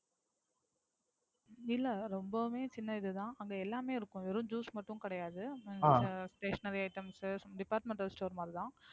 இல்ல ரொம்பவுமே சின்னது தான் அங்க எல்லாமே இருக்கும். வெறும் Juice மட்டும் கிடையாது. Stationery item departmental store மாதிரி தான்.